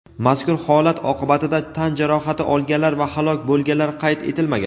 Mazkur holat oqibatida tan jarohati olganlar va halok bo‘lganlar qayd etilmagan.